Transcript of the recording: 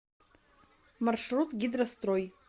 маршрут гидрострой